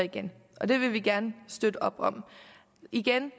igen og det vil vi gerne støtte op om igen